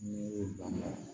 N'i y'o lamaga